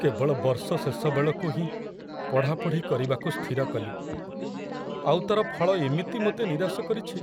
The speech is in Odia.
କେବଳ ବର୍ଷ ଶେଷ ବେଳକୁ ହିଁ ପଢ଼ାପଢ଼ି କରିବାକୁ ସ୍ଥିର କଲି, ଆଉ ତାର ଫଳ ଏମିତି ମୋତେ ନିରାଶ କରିଛି।